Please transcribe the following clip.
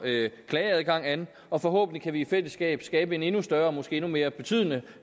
klageadgangen an og forhåbentlig kan vi i fællesskab skabe en endnu større og måske endnu mere betydende